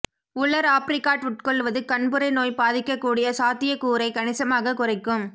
உலர் ஆப்ரிகாட் உட்கொள்வது கண்புரை நோய் பாதிக்கக்கூடிய சாத்தியக்கூறை கணிசமாகக் குறைக்கும்